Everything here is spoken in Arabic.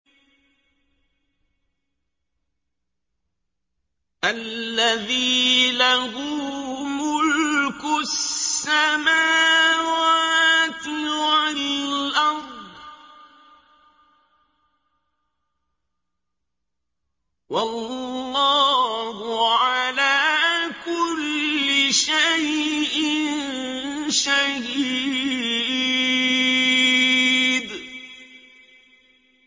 الَّذِي لَهُ مُلْكُ السَّمَاوَاتِ وَالْأَرْضِ ۚ وَاللَّهُ عَلَىٰ كُلِّ شَيْءٍ شَهِيدٌ